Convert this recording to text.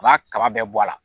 B'a Kaba bɛɛ bɔ a la.